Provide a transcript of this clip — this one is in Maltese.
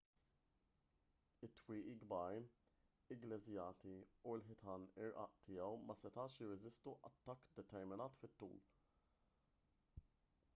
it-twieqi kbar igglejżjati u l-ħitan irqaq tiegħu ma setgħux jirreżistu attakk determinat fit-tul